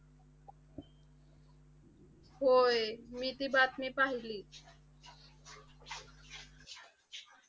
होय. मी ती बातमी पाहिली.